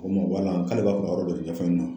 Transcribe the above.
k'ale b'a fɛ ka yɔrɔ dɔ de ɲɛfɔ ne